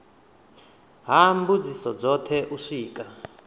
ha mbudziso dzothe u swika